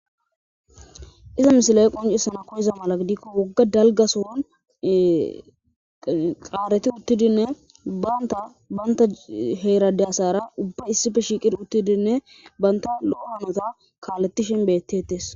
izza misiley qoncisina koyiza mala gidikko woga dalga sohon qareti uttidinne banta heran de'iza asara banta lo'iza hanota kalethishe betetes